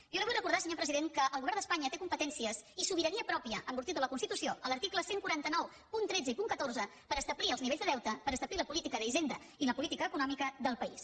jo li vull recordar senyor president que el govern d’espanya té competències i sobirania pròpia en virtut de la constitució a l’article cent i quaranta nou punt tretze i punt catorze per establir els nivells de deute per establir la política d’hisenda i la política econòmica del país